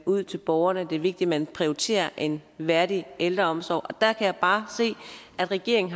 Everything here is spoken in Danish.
ud til borgerne at det er vigtigt at man prioriterer en værdig ældreomsorg og der kan jeg bare se at regeringen